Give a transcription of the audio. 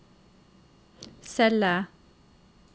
celle